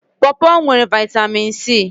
Pọpọ nwere Vị́tamị́n C